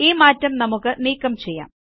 ഈ മാറ്റം നമുക്ക് നീക്കം ചെയ്യാം